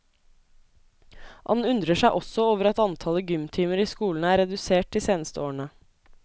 Han undrer seg også over at antallet gymtimer i skolene er redusert de seneste årene.